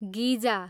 गिजा